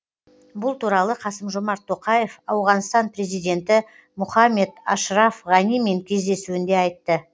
бұл туралы қасым жомарт тоқаев ауғанстан президенті мұхаммед ашраф ғанимен кездесуінде айтты